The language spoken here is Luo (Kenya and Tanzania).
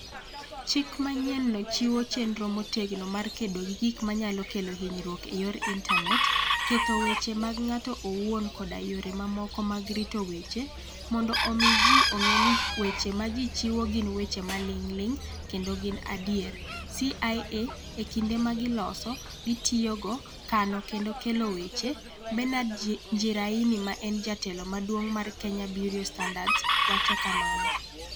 Chik manyienno chiwo chenro motegno mar kedo gi gik manyalo kelo hinyruok e yor intanet, ketho weche mag ng'ato owuon koda yore mamoko mag rito weche, mondo omi ji ong'e ni weche ma ji chiwo gin weche maling'ling' kendo gin adier (CIA) e kinde ma giloso, gitiyogo, kano kendo kelo weche, Bernard Njiraini, ma en Jatelo Maduong' mar KEBS, wacho kamano.